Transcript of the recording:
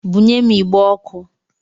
Bunye m igbe ọkụ!